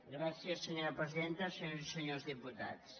gràcies senyora presidenta senyores i senyors diputats